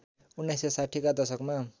१९६० कै दशकमा